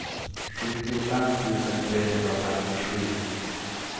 sjuttiofem tusen trehundrafemtiosju